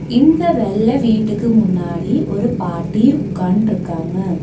இந்த வெள்ள வீட்டுக்கு முன்னாடி ஒரு பாட்டி உக்காண்ட்ருக்காங்க.